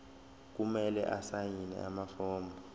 kumele asayine amafomu